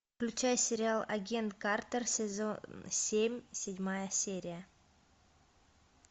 включай сериал агент картер сезон семь седьмая серия